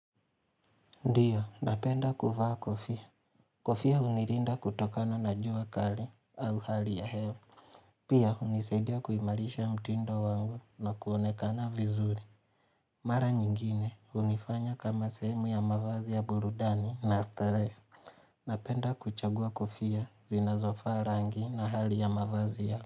Ndio, napenda kuvaa kofia. Kofia hunilinda kutokana na jua kali au hali ya hewa. Pia hunisaidia kuimarisha mtindo wangu na kuonekana vizuri. Mara nyingine hunifanya kama sehemu ya mavazi ya burudani na starehe. Napenda kuchagua kofia zinazofaa rangi na hali ya mavazi ya.